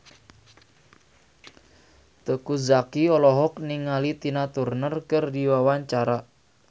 Teuku Zacky olohok ningali Tina Turner keur diwawancara